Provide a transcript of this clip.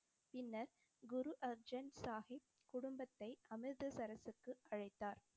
பின்னர், குரு அர்ஜன் சாஹிப் குடும்பத்தை அமிர்தசரஸுக்கு அழைத்தார்.